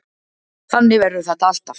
Þannig verður þetta alltaf.